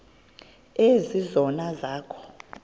ezi zono zakho